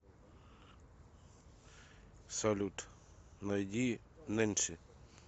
салют найди нэнси